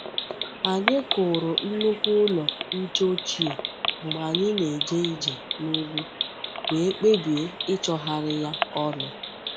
Anyị kụrụ nnukwu ụlọ nche ochie mgbe anyị na-eje ije n'ugwu, wee kpebie ịchọgharị ya ọnụ.